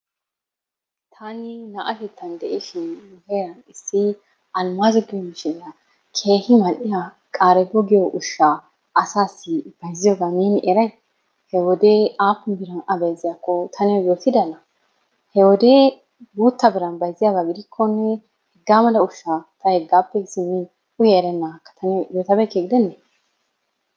Tanni na'atettani de'ishin herani issi almazo giyo mishiriyaa kehi maliyaa qarebo giyoo ushshaa asassi bayziyoggaa nenni erayi hee wodee apuni birrani aa bayziyakonne neyoo yottidannaa, hee wodee guttaa birrani bayziyabbaa gidikonne, hegaa malaa ushshaa ta hegappe siminni uyaa eranagaakkaa ta neyo yottabeyikkee gidenne.